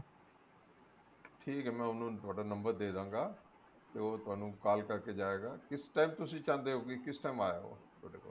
ਠੀਕ ਐ ਮੈਂ ਉਹਨੂੰ ਤੁਹਾਡਾ number ਦੇਦਾਂਗਾ ਤੇ ਉਹ ਤੁਹਾਨੂੰ call ਕਰਕੇ ਜਾਏਗਾ ਕਿਸ time ਤੁਸੀਂ ਚਾਹੁੰਦੇ ਹੋ ਕਿ ਕਿਸ time ਆਏ ਉਹ ਤੁਹਾਡੇ ਕੋਲ